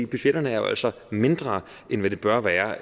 budgetterne er jo altså mindre end hvad de bør være